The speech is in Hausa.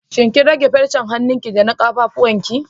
Shin kin rage farcen hanunki da na ƙafafuwan ki?